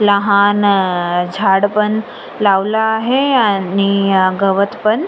लहान झाड पण लावल आहे आणि गवत पण--